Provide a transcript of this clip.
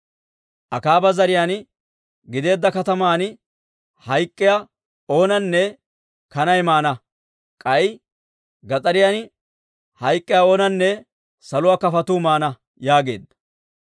Akaaba zariyaa gideedda kataman hayk'k'iyaa oonanne kanay maana; k'ay gas'ariyan hayk'k'iyaa oonanne saluwaa kafotuu maana» yaageedda.